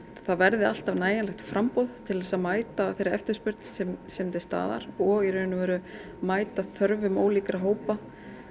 það verði alltaf nægjanlegt framboð til þess að mæta þeirri eftirspurn sem sem er til staðar og í raun og veru mæta þörfum ólíkra hópa